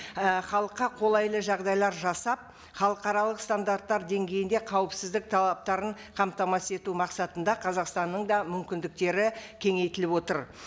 і халыққа қолайлы жағдайлар жасап халықаралық стандарттар деңгейінде қауіпсіздік талаптарын қамтамасыз ету мақсатында қазақстанның да мүмкіндіктері кеңейтіліп отыр